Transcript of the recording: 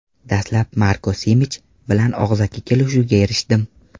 Dastlab Marko Simich bilan og‘zaki kelishuvga erishdim.